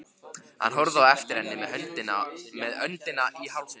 Hann horfði á eftir henni með öndina í hálsinum.